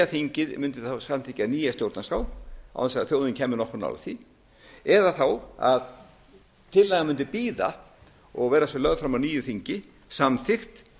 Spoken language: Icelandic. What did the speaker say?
þingið mundi samþykkja nýja stjórnarskrá án þess að þjóðin kæmi nokkuð nálægt því eða að tillagan mundi bíða og vera svo lögð fram á nýju þingi samþykkt